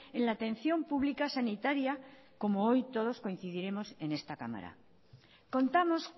en la atención pública sanitaria como hoy todos coincidiremos en esta cámara contamos